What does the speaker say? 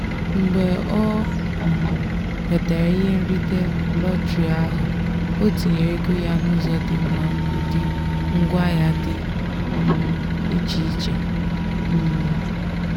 mgbe ọ um nwetara ihe nrite lọtrị ahụ ọ tinyere ego ya n'ụzọ dị mma ụdị ngwaahịa dị um iche iche. um